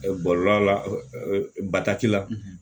Bɔlɔlɔ la bataki la